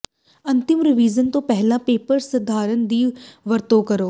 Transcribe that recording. ਅੰਤਮ ਰੀਵਿਜ਼ਨ ਤੋਂ ਪਹਿਲਾਂ ਪੀਅਰ ਸੰਪਾਦਨ ਦੀ ਵਰਤੋਂ ਕਰੋ